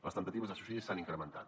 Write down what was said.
les temptatives de suïcidi s’han incrementat